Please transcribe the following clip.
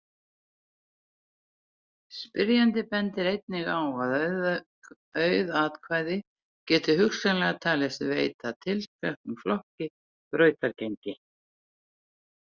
Spyrjandi bendir einnig á að auð atkvæði geti hugsanlega talist veita tilteknum flokki brautargengi.